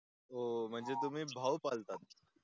हो म्हणजे तुम्ही भाव पाळतात